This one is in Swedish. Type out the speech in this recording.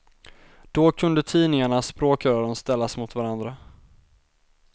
Då kunde tidningarna, språkrören, ställas mot varandra.